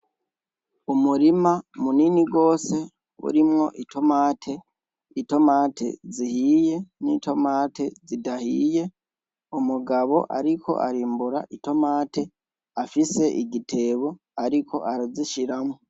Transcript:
Umurima munini rwose urimwo itomate itomate zihiye n'itomate zidahiye umugabo, ariko arimbura itomate afise igitebo, ariko arazishiramwo.